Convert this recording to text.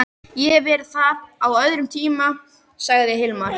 Ég hef verið þar á öðrum tíma, sagði Hilmar.